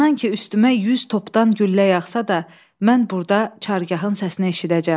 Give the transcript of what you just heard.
İnan ki, üstümə yüz topdan güllə yağsa da, mən burda Çargahın səsini eşidəcəm.